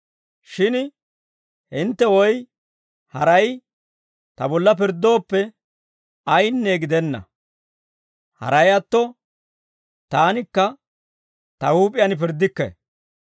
Shin hintte woy haray ta bolla pirddooppe, ayinne gidenna. Haray atto, taanikka ta huup'iyaan pirddikke.